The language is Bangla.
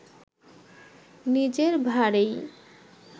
নিজের ভারেই